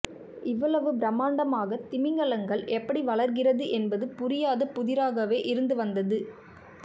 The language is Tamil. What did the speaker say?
இவ்வளவு பிரம்மாண்டமாக திமிங்கலங்கள் எப்படி வளர்கிறது என்பது புரியாத புதிராகவே இருந்து வந்தது